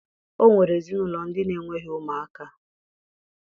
O nwere ezinụlọ ndị na-enweghi ụmụaka